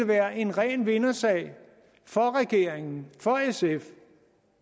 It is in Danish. være en ren vindersag for regeringen for sf